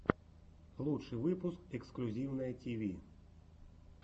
лучший выпуск эксклюзивное тиви